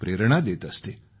प्रेरणा देत असते